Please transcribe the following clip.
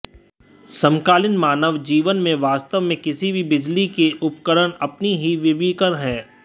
समकालीन मानव जीवन में वास्तव में किसी भी बिजली के उपकरण अपनी ही विकिरण है